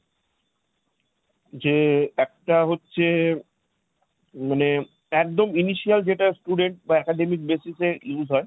যে একটা হচ্ছে মানে, একদম যেটা student বা academic basis এ use হয়,